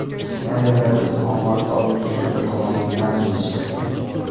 Ayrimlar esa omad doim kuchlilar tomonidan, deyishadi.